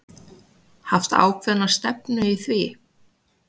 Haft ákveðna stefnu í því?